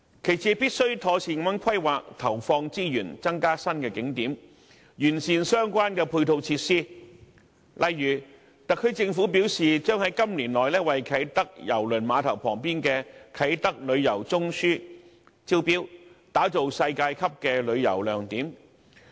其次，政府必須妥善地規劃和投放資源，以增加新景點，並完善相關配套設施，例如特區政府表示，將於今年內為在啟德郵輪碼頭旁邊的"啟德旅遊中樞"招標，打造世界級的旅遊亮點。